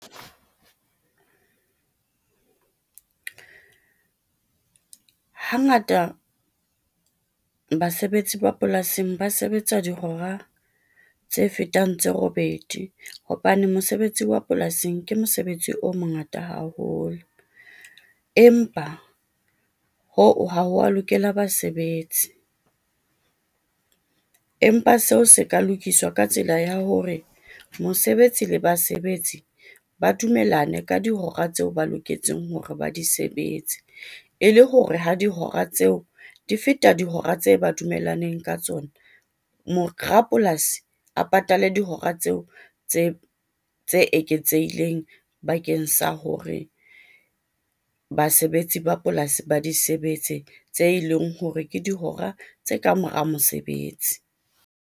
Hangata basebetsi ba polasing ba sebetsa dihora tse fetang tse robedi, hobane mosebetsi wa polasing ke mosebetsi o mongata haholo. Empa hoo ha wa lokela basebetsi, empa seo se ka lokiswa ka tsela ya hore mosebetsi le basebetsi ba dumellane ka dihora tseo ba loketseng hore ba di sebetse, e le hore ho dihora tseo di feta dihora tse ba dumellaneng ka tsona. rapolasi a patale dihora tseo tse tse eketsehileng bakeng sa hore basebetsi ba polasi ba di sebetse, tse leng hore ke dihora tse kamora mosebetsi.